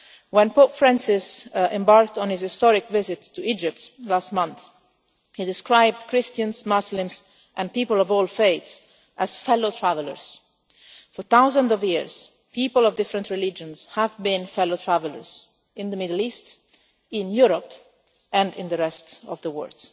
When Pope Francis embarked on his historic visit to Egypt last month, he described Christians, Muslims and people of all faiths as fellow travellers. For thousands of years people of different religions have been fellow travellers in the Middle East, in Europe and in the rest of the word.